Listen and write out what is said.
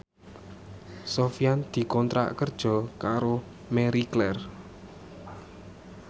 Sofyan dikontrak kerja karo Marie Claire